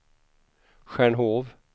Stjärnhov